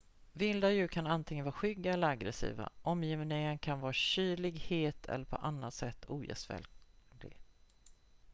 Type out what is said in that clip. vilda djur kan antingen vara skygga eller aggressiva omgivningen kan vara kylig het eller på annat sätt ogästvänlig